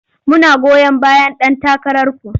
Muna goyon bayan ɗan takararku.